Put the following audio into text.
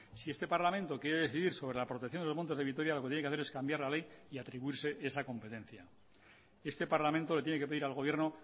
si este parlamento quiere decidir sobre la protección de los montes de vitoria lo que tiene que hacer es cambiar la ley y atribuirse esa competencia este parlamento le tiene que pedir al gobierno